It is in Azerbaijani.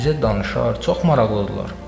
Bizə danışar, çox maraqlıdırlar.